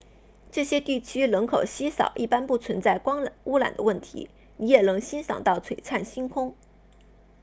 这些地区人口稀少一般不存在光污染的问题你也能欣赏到璀璨星空